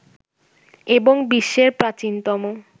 এবং বিশ্বের প্রাচীনতম